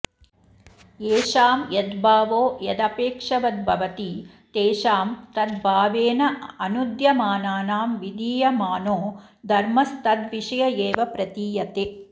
येषां यद्भावो यदपेक्षवद्भवति तेषां तद्भावेनानूद्यमानानां विधीयमानो धर्मस्तद्विषय एव प्रतीयते